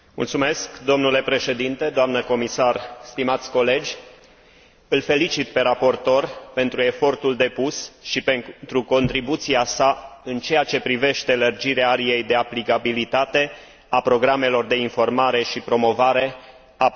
Îl felicit pe raportor pentru efortul depus și pentru contribuția sa în ceea ce privește lărgirea ariei de aplicabilitate a programelor de informare și promovare a produselor agricole pe piața internă și în țările terțe.